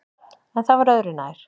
En það var öðru nær.